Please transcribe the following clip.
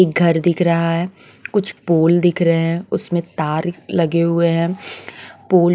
एक घर दिख रहा है कुछ पोल दिख रहे हैं उसमें तार लगे हुए हैं पोल --